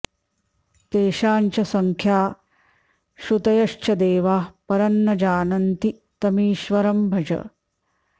तेषां च संख्याः श्रुतयश्च देवाः परं न जानन्ति तमीश्वरं भज